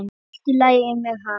Allt í lagi með hann.